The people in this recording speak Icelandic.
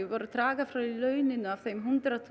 voru að draga frá launin af þeim hundrað